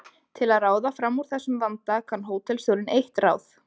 Til að ráða fram úr þessum vanda kann hótelstjórinn eitt ráð.